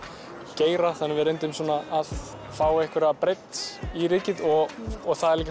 geira þannig að við reyndum svona að fá einhverja breidd í rykið og það er